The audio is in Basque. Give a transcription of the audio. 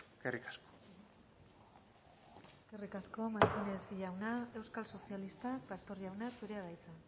eskerrik asko eskerrik asko martínez jauna euskal sozialistak pastor jauna zurea da hitza